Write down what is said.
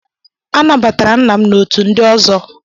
A nabatara nna m n'otu ndị ọzọ.